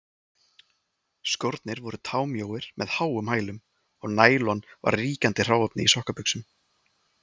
Skórnir voru támjóir með háum hælum, og nælon var ríkjandi hráefni í sokkabuxum.